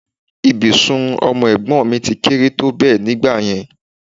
Ibùsùn ọmọ ẹ̀gbọ́n mi ti kéré tó bẹ́ẹ̀ nígbà yẹn